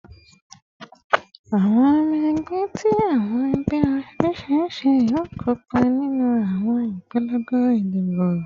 Awọn ọmọ ẹgbẹ ti awọn ẹgbẹ oriṣiriṣi yoo kopa ninu awọn ipolongo idibo